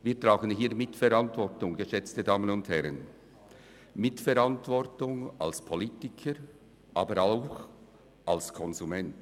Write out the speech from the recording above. Wir tragen Mitverantwortung, geschätzte Damen und Herren, Mitverantwortung als Politiker, aber auch als Konsument.